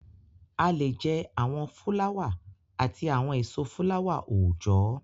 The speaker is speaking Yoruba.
A lè jẹ́ àwọn fúláwà àti àwọn èso fúláwà-oòjọ́